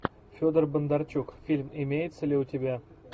федор бондарчук фильм имеется ли у тебя